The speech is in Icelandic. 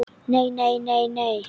Nei, nei, nei, nei.